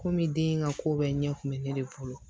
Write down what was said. Kɔmi den in ka ko bɛɛ ɲɛ ku be ne de bolo